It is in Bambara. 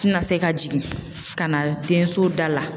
Tɛna se ka jigin ka na denso da la